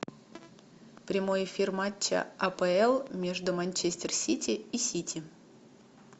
прямой эфир матча апл между манчестер сити и сити